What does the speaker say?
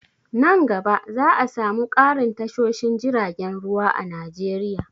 Nan gaba za'a samu ƙarin tashoshin jiragen ruwa a Najeriya.